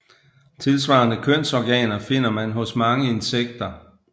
Tilsvarende kønsorganer finder man hos mange insekter